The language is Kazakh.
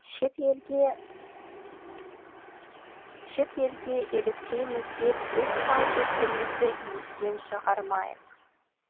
шет елге еліктейміз деп өз салт дәстүрімізді естен шығармайық